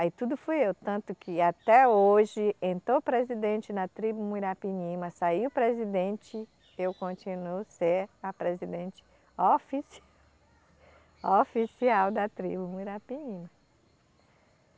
Aí tudo fui eu, tanto que até hoje, entrou presidente na tribo Muirapinima, saiu presidente, eu continuo ser a presidente ofici, oficial da tribo Muirapinima.